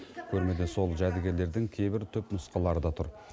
көрмеде сол жәдігерлердің кейбір түпнұсқалары да тұр